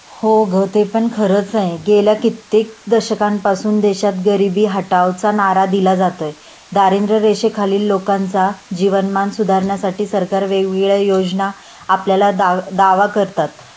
हो ग ते पण खरंच आहे.गेल्या कित्येक दशकांपासून देशात गरिबी हटाओ चा नारा दिला जातोय.दारिद्र्य रेषेखालील लोकांचा जीवनमान सुधारण्यासाठीच सरकार वेगवेगळ्या योजना आपल्याला दावा करतात